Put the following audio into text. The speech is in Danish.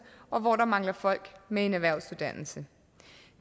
og hvor der mangler folk med en erhvervsuddannelse